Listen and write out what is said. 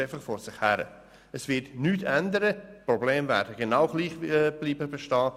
Ändert man nichts, werden die Probleme genau gleich weiterbestehen.